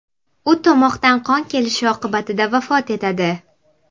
U tomoqdan qon kelishi oqibatida vafot etadi.